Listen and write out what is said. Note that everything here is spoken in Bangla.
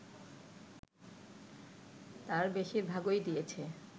তার বেশিরভাগই দিয়েছে